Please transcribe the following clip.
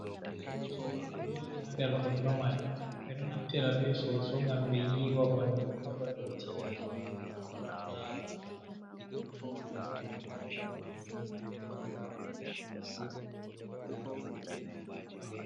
Soso ɗo joɗi ha nder kondo majum ɓeɗo naftira be soso ngam ɓe yiiwa ɓanɗu heɓa dotti itta, ɓanɗu goɗɗo laɓa.